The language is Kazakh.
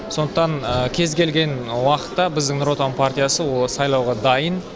сондықтан кез келген уақытта біздің нұр отан партиясы ол сайлауға дайын